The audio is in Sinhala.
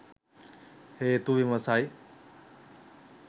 හේතු විමසයි.